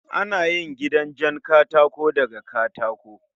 Ana yin gidanjen katako daga katako